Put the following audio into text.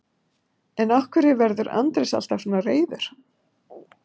en af hverju verður andrés alltaf svona reiður